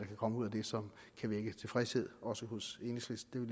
kan komme ud af det som kan vække tilfredshed også hos enhedslisten